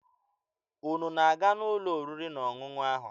Unu na-aga n'ụlọ oriri na ọṅụṅụ ahụ?